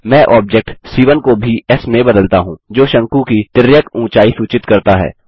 मैं object c 1 को भी एस में बदलता हूँ जो शंकु की तिर्यक ऊँचाई सूचित करता है